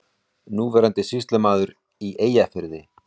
Núverandi sýslumaður í Eyjafirði.